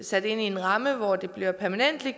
sat ind i en ramme hvor det bliver